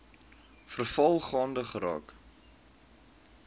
veral gaande geraak